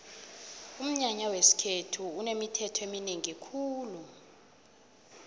umnyanya wesikhethu unemithetho eminengi khulu